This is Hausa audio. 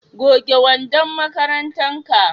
goge wandon makarantar ka!